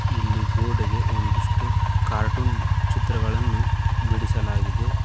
ಇಲ್ಲಿ ಗೋಡೆಗೆ ಒಂದಿಷ್ಟು ಕಾಟು೯ನ್ ಚಿತ್ರಗಳನ್ನು ಬಿಡಿಸಲಾಗಿದೆ.